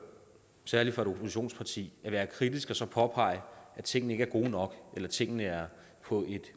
særlig fra et oppositionsparti at være kritisk og påpege at tingene ikke er gode nok eller at tingene er på et